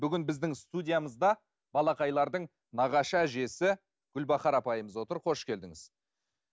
бүгін біздің студиямызда балақайлардың нағашы әжесі гүлбахар апайымыз отыр қош келдіңіз